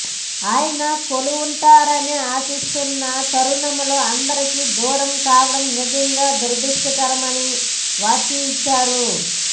ఆయన కోలుకుంటారని ఆశిస్తున్న తరుణంలో అందరికీ దూరం కావడం నిజంగా దురదృష్టకరమని వ్యాఖ్యానించారు